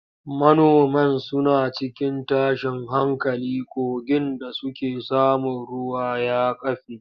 Manoman suna cikin tashin hankali kogin da suke samun ruwa ya kafe.